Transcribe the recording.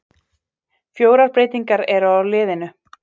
Fjórar breytingar eru á liðinu.